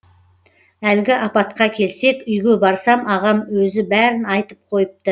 әлгі апатқа келсек үйге барсам ағам өзі бәрін айтып қойыпты